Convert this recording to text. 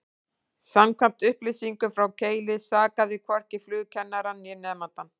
Samkvæmt upplýsingum frá Keili sakaði hvorki flugkennarann, né nemandann.